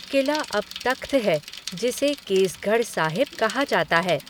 किला अब तख़्त है जिसे केसगढ़ साहिब कहा जाता है।